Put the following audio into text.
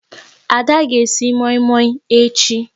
Ada ga esi moi moi echi